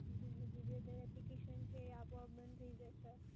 એનાથી જે application છે, એ આપોઆપ બંધ થઈ જશે?